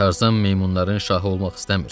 Tarzan meymunların şahı olmaq istəmir.